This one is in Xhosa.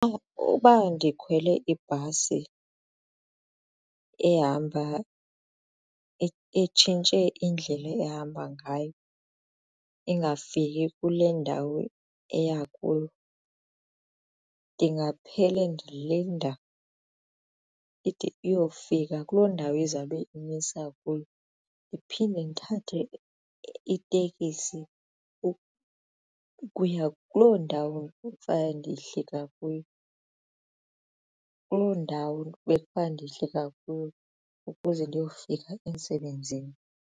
Uba ndikhwele ibhasi ehamba itshintshe indlela ehamba ngayo ingafiki kule ndawo eya kuyo ndingaphele ndilinda ide iyofika kuloo ndawo izawube indimisa kuyo ndiphinde ndithathe itekisi ukuya kuloo ndawo okufana ndehlika kuyo, kuloo ndawo bekufane ndehlika kuyo ukuze ndiyofika emsebenzini.